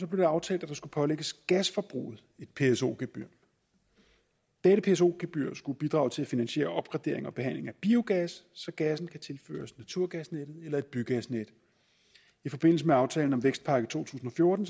blev det aftalt at der skulle pålægges gasforbruget et pso gebyr dette pso gebyr skulle bidrage til at finansiere opgradering og behandling af biogas så gassen kan tilføres naturgasnettet eller et bygasnet i forbindelse med aftalen om vækstpakke to tusind og fjorten